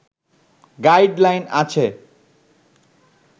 guide line আছে